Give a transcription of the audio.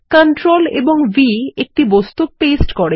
Ctrl V একটি বস্তু paste করে